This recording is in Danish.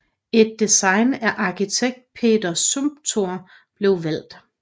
Et design af arkitekt Peter Zumthor blev valgt